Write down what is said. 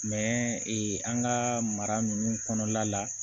ee an ka mara ninnu kɔnɔna la